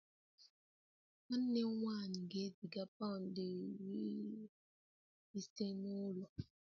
Nwanne m nwanyị ga-eziga pound iri ise n'ụlọ